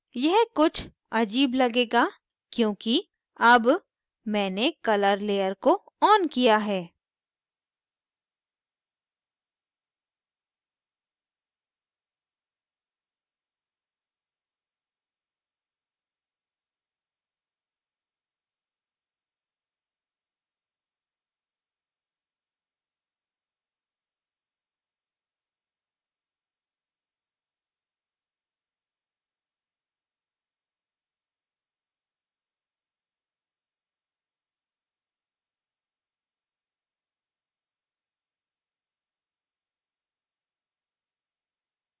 यह कुछ अजीब लगेगा क्योंकि अब मैंने colour layer को on किया है